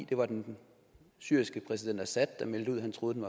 det var den syriske præsident assad der meldte ud at han troede den